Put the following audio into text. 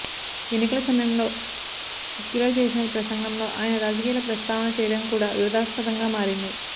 ఎన్నికల సమయంలో ఫిక్కిలో చేసిన ప్రసంగంలో ఆయన రాజకీయాల ప్రస్తావన చేయడం కూడా వివాదాస్పదంగా మారింది